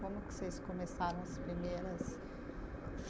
Como que vocês começaram as primeiras?